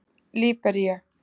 Líbería